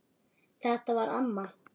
Þetta var amma.